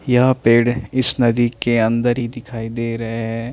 या पेड़ है इस नदी के अन्दर ही दिखाई देरे है।